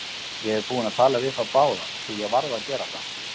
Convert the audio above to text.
Ég er búinn að tala við þá báða, því ég varð að gera það.